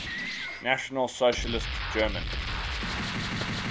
national socialist german